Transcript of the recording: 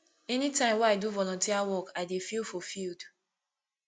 anytime wey i do volunteer work i dey feel fulfiled